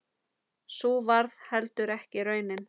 Sú varð heldur ekki raunin.